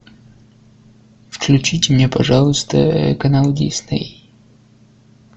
включите мне пожалуйста канал дисней